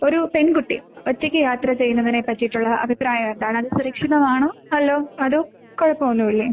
ഒരു പെൺകുട്ടിയെ ഒറ്റയ്ക്ക് യാത്ര ചെയ്യുന്നതിനെ പറ്റിയിട്ടുള്ള അഭിപ്രായം എന്താണ് അത് സുരക്ഷിതമാണോ അല്ലോ കുഴപ്പമൊന്നുല്ലേ?